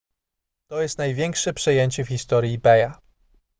to jest największe przejęcie w historii ebaya